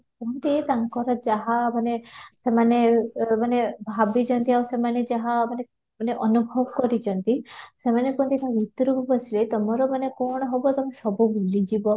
କୁହନ୍ତି ତାଙ୍କର ଯାହା ମାନେ ସେମାନେ ଅଃ ମାନେ ଭାବିଛନ୍ତି ସେମାନେ ଯାହା ମାନେ ମାନେ ଅନୁଭବ କରିଛନ୍ତି, ସେମାନେ କୁହନ୍ତି ସେ ଭିତରକୁ ପଶିଲେ ତମର ମାନେ କ'ଣ ହେବ ତମେ ସବୁ ଭୁଲି ଯିବ